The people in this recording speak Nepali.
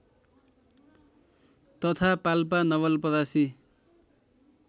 तथा पाल्पा नवलपरासी